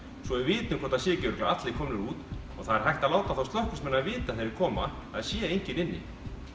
svo við vitum hvort það séu ekki örugglega allir komnir út og það er hægt að láta þá slökkviliðsmennina vita þegar þeir koma að það sé enginn inni